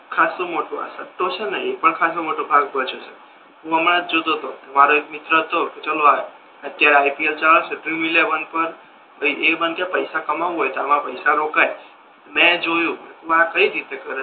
આ ખાસુ મોટુ આ સટ્ટો છે ને એ પણ ખાસો મોટો ભાગ ભજવે છે હુ હમણા જ જોતો હતો કે મારો એક મિત્ર હતો અત્યારે આઇપીએલ ચાલે છે ડ્રીમ એલેવન પર ભાઈબંધ કે પૈસા કમાઉ હોય તો આમા પૈસા રોકાય મે જોયુ આમા આ કઈ રીતે કરે છે